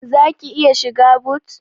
Zaki iya shiga but?